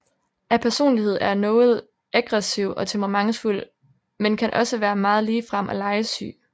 Af personlighed er Noel aggressiv og temperamentsfuld men kan også været meget ligefrem og legesyg